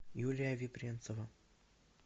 юлия вепринцева